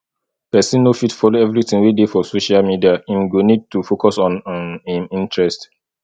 person no fit follow everything wey dey for social media im go need to focus on um im interest